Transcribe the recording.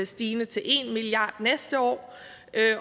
stigende til en milliard kroner næste år